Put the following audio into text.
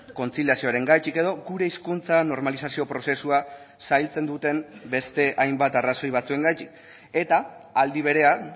kontziliazioarengatik edo gure hizkuntza normalizazio prozesua zailtzen duten beste hainbat arrazoi batzuengatik eta aldi berean